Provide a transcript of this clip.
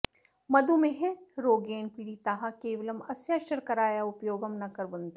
मधुमेहरोगेण पीडिताः केवलम् अस्याः शर्करायाः उपयोगं न कुर्वन्ति